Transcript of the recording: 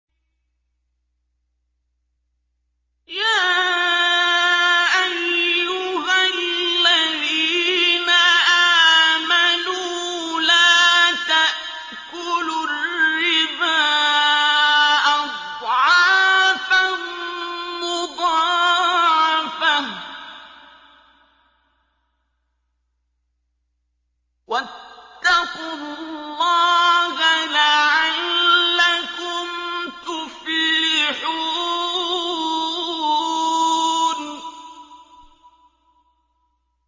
يَا أَيُّهَا الَّذِينَ آمَنُوا لَا تَأْكُلُوا الرِّبَا أَضْعَافًا مُّضَاعَفَةً ۖ وَاتَّقُوا اللَّهَ لَعَلَّكُمْ تُفْلِحُونَ